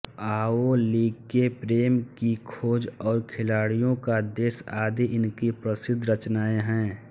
लाओ लि के प्रेम की खोज और खिलाड़ियों का देश आदि इनकी प्रसिद्ध रचनाएँ हैं